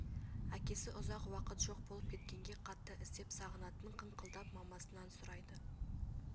әкесі ұзақ уақыт жоқ болып кеткенге қатты іздеп сағынатын қыңқылдап мамасынан сұрайды